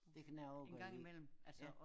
Det kan jeg også godt lide